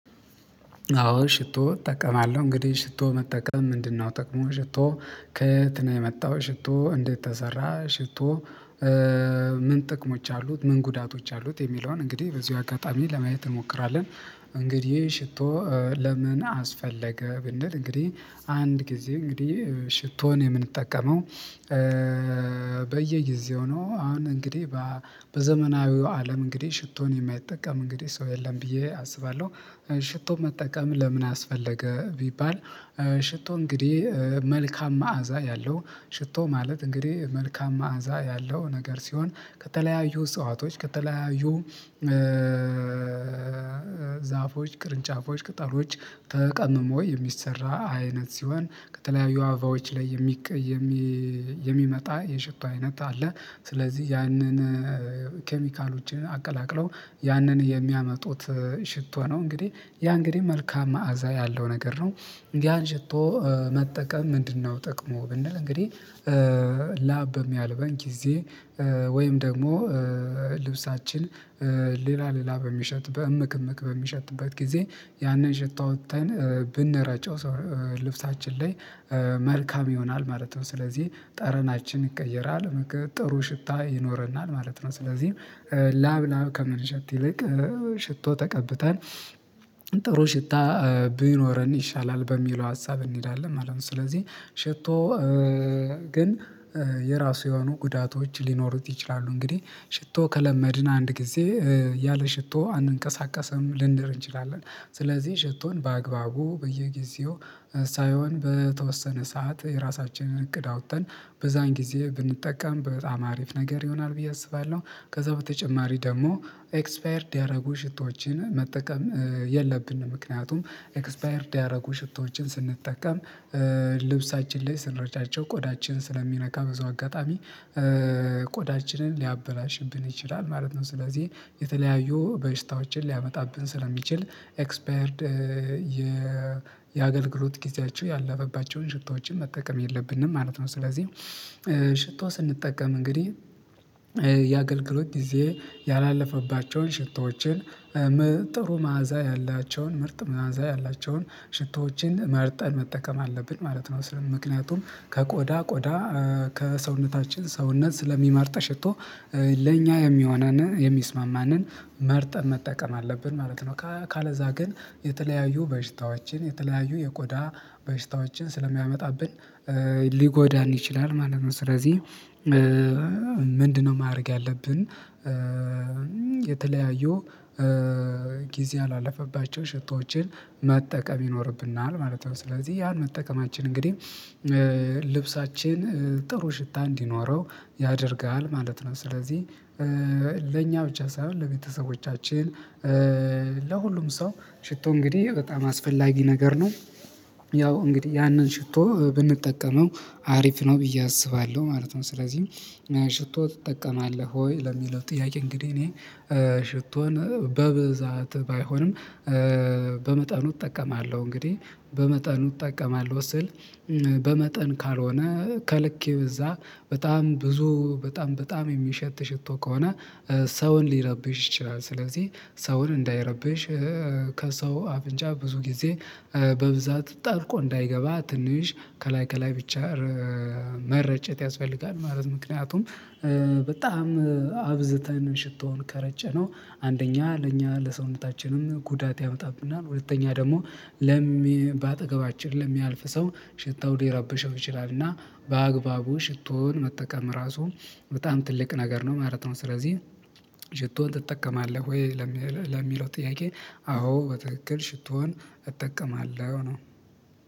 አዎ ሽቶ እጠቀማለሁ እንግዲህ ሽቶ መጠቀም ምንድነው? ጥቅሙ ሽቶ ከእንትን የመጣው ሽቶ እንዴት ተሰራ። ሽቶ ምን ጥቅሞች አሉት ምን ጉዳቶች አሉት? የሚለውን እንግዲህ በዚሁ አጋጣሚ ለማየት እንሞክራለን። እንግዲህ ሽቶ ለምን አስፈለገ ብንል እንግዲህ አንድ ጊዜ እንግዲህ ሽቶን የምንጠቀመው። በየጊዜው ነው አሁን እንግዲህ በዘመናዊው አለም እንግዲህ ሽቶን የማይጠቀም እንግዲህ ሰው የለም ብዬ አስባለሁ። ሽቶ መጠቀም ለምን አስፈለገ? ቢባል ሽቶ እንግዲህ መልካም መዓዛ ያለው ሽቶ ማለት እንግዲህ መልካም መዓዛ ያለው ነገር ሲሆን ከተለያዩ እጽዋቶች ከተለያዩ ዛፎች ቅርንጫፎች ቅጠሎች ተቀምሞ የሚሰራ አይነት ሲሆን ከተለያዩ አበባዎች ላይ የሚቀሰም የሚመጣ የሽቶ አይነት አለ። ስለዚህ ያንን ኬሚካሎችን አቀላቅለው ያንን የሚያመጡት ሽቶ ነው እንግዲህ ያ እንግዲህ መልካም መዓዛ ያለው ነገር ነው። ያን ሽቶ መጠቀም ምንድነው ጥቅሙ? ብንል እንግዲህ ላብ በሚያልበን ጊዜ ወይም ደግሞ ልብሳችን ሌላ ሌላ በሚሸት በእምክእምክ በሚሸትበት ጊዜ ያንን ሽቶ አውተን ብንረጨው ሰው ልብሳችን ላይ መልካም ይሆናል ማለት ነው ስለዚህ ጠረናችን ይቀየራል ጥሩ ሽታ ይኖረናል ማለት ነው። ስለዚህ ላብ ላብ ከምንሸት ይልቅ ሽቶ ተቀብተን ጥሩ ሽታ ቢኖረን ይሻላል በሚለው ሀሳብ እንሄዳለን ማለት ነው። ስለዚህ ሽቶ ግን የራሱ የሆኑ ጉዳቶች ሊኖሩት ይችላሉ። እንግዲህ ሽቶ ከለመድን አንድ ጊዜ ያለ ሽቶ አንቀሳቀስም ልንል እንችላለን። ስለዚህ ሽቶን በአግባቡ በየጊዜው ሳይሆን በተወሰነ ሰዓት የራሳችንን እቅድ አውጥተን በዛን ጊዜ ብንጠቀም በጣም አሪፍ ነገር ይሆናል ብዬ አስባለሁ። ከዛ በተጨማሪ ደግሞ ኤክስፓየርድ ያደረጉ ሽቶችን መጠቀም የለብንም። ምክንያቱም ኤክስፓየርድ ያደረጉ ሽቶዎችን ስንጠቀም ልብሳችን ላይ ስንረጫቸው ቆዳችን ስለሚነካ ብዙ አጋጣሚ ቆዳችንን ሊያበላሽብን ይችላል ማለት ነው። ስለዚህ የተለያዩ በሽታዎችን ሊያመጣብን ስለሚችል ኤክስፓየርድ የአገልግሎት ጊዜያቸው ያለፈባቸውን ሽቶዎችን መጠቀም የለብንም ማለት ነው። ስለዚህ ሽቶ ስንጠቀም እንግዲህ የአገልግሎት ጊዜ ያላለፈባቸውን ሽታዎችን ጥሩ መዓዛ ያላቸውን ምርጥ መዓዛ ያላቸውን ሽቶዎችን መርጠን መጠቀም አለብን ማለት ነው። ስለምን ምክንያቱም ከቆዳ ቆዳ ከሰውነታችን ሰውነት ስለሚመርጥ ሽቶ ለእኛ የሚሆነን የሚስማማንን መርጠን መጠቀም አለብን ማለት ነው። ካለዛ ግን የተለያዩ በሽታዎችን የተለያዩ የቆዳ በሽታዎችን ስለሚያመጣብን ሊጎዳን ይችላል ማለት ነው። ስለዚህ ምንድነው ማድረግ ያለብን? የተለያዩ ጊዜ ያላለፈባቸውን ሽቶዎችን መጠቀም ይኖርብናል ማለት ነው። ስለዚህ ያን መጠቀማችን እንግዲህ ልብሳችን ጥሩ ሽታ እንዲኖረው ያደርጋል ማለት ነው። ስለዚህ ለኛ ብቻ ሳይሆን ለቤተሰቦቻችን ለሁሉም ሰው ሽቶ እንግዲህ በጣም አስፈላጊ ነገር ነው። ያው እንግዲህ ያንን ሽቶ ብንጠቀመው አሪፍ ነው ብዬ አስባለሁ ማለት ነው። ስለዚህ ሽቶ ትጠቀማለህ ወይ? ለሚለው ጥያቄ እንግዲህ እኔ ሽቶን በብዛት ባይሆንም በመጠኑ እጠቀማለሁ እንግዲህ በመጠኑ እጠቀማለሁ ስል በመጠን ካልሆነ ከልክ የበዛ በጣም ብዙ በጣም በጣም የሚሸት ሽቶ ከሆነ ሰውን ሊረብሽ ይችላል። ስለዚህ ሰውን እንዳይረብሽ ከሰው አፍንጫ ብዙ ጊዜ በብዛት ጠልቆ እንዳይገባ ትንሽ ከላይ ከላይ ብቻ መርጨት ያስፈልጋል። ማለት ምክንያቱም በጣም አብዝተን ሽቶውን ከረጨነው አንደኛ ለእኛ ለሰውነታችንም ጉዳት ያመጣብናል ሁለተኛ ደግሞ ለሚ በአጠገባችን ለሚያልፍ ሰው ሽታው ሊረበሸው ይችላል እና በአግባቡ ሽቶን መጠቀም ራሱ በጣም ትልቅ ነገር ነው ማለት ነው። ስለዚህ ሽቶን ትጠቀማለህ ወይ? ለሚለው ጥያቄ አዎ በትክክል ሽቶን እጠቀማለሁ ነው